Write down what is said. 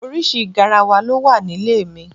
Oríṣi garawa ló wà nílé mi.